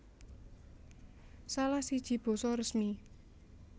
Salah siji basa resmi